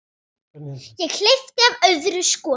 Ég hleypti af öðru skoti.